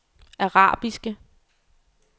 arabiske